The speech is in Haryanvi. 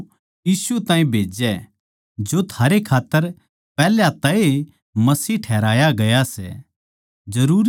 अर वो यीशु ताहीं भेज्जै जो थारै खात्तर पैहल्या तै ए मसीह ठहराया गया सै